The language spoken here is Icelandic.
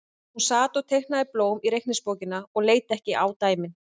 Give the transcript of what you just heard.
Hún sat og teiknaði blóm í reikningsbókina og leit ekki á dæmin.